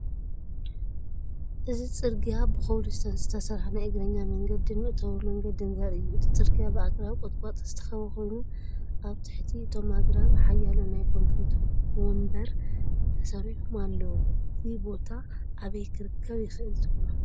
እዚ ጽርግያ ብኮብልስቶን ዝተሰርሐ ናይ እግረኛ መንገድን መእተዊ መንገዲን ዘርኢ እዩ። እቲ ጽርግያ ብኣግራብን ቁጥቋጥን ዝተኸበበ ኮይኑ፡ ኣብ ትሕቲ እቶም ኣግራብ ሓያሎ ናይ ኮንክሪት መንበር ተሰሪዖም ኣለዉ። እዚ ቦታ ኣበይ ክርከብ ይኽኣል ትብሉ?